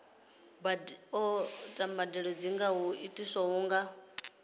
mbadelo dzi nga itwa nga